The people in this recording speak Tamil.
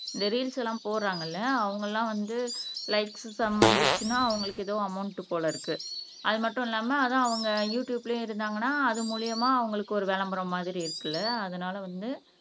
இந்த ரீல்ஸ் எல்லாம் போடுறாங்கல்ல அவங்க எல்லாம் வந்து லைக்ஸ் சம் வந்துருச்சுன்னா அவங்களுக்கு ஏதோ அமௌன்ட் போல இருக்கு அது மட்டும் இல்லாம அதுவும் அவங்க யுடுயூப்லயும் இருந்தாங்கன்னா அது மூலியமா அவங்களுக்கு ஒரு விளம்பரம் மாதிரி இருக்குல்ல அதனால வந்து